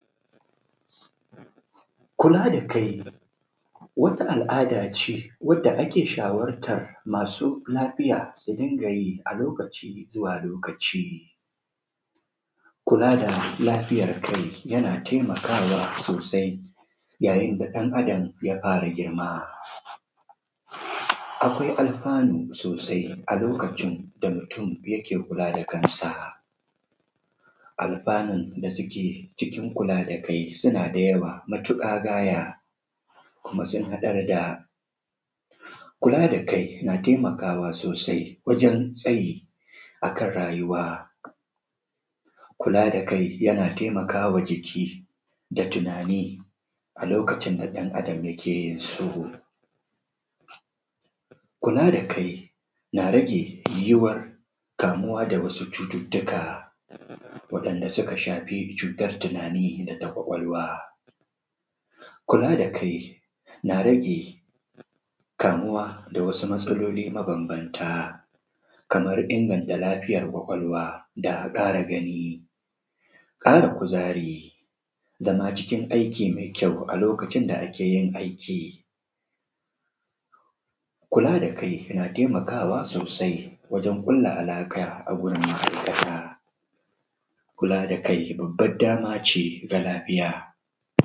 Kula da kai wata al'ada ce wanda ake shawartar masu ciki su riƙa yi a lokaci zuwa lokaci. Kula da lafiyar kai yana taimakawa sosai saboda yayin da ɗan Adam ya fara girma akwai alfanu sosai a lokacin da mutum ya fara kula da kansa. Alfanu da suke cikin kula da kai suna da yawa matuƙa gaya kuma sun haɗar da. Kula da kai na taimakawa sosai wajen tsayi a kan rayuwa kula da kai yana taimaka wa jiki da tunani a lokacin da ɗan Adam yake yin su. Kula da kai na rage yuwuwar kamuwa da cututtuka waɗanda suka shafi cutar tunanin da taɓin ƙwaƙwalwa. Kula da kai na rage kamuwa da wasu matsaloli mabanbanta kamar inganta lafiya ƙwaƙwalwa da ƙara gani ƙara kuzari zama cikin zama ciki daki mai ƙyau a lokacin da ake yi aiki. Kula da kai yana taimakawa sosai wajen kulla alaƙa da ma’aikata .kula da kai babban dama ce ga lafiya.